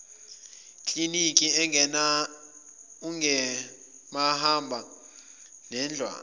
kliniki engumahamba nendlwana